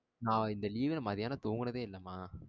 நா இந்த leave ல மத்தியானம் தூங்குனதே இல்லமா.